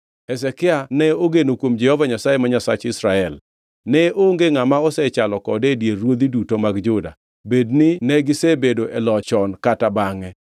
Hezekia ne ogeno kuom Jehova Nyasaye ma Nyasach Israel. Ne onge ngʼama osechalo kode e dier ruodhi duto mag Juda, bedni negisebedo e loch chon kata bangʼe.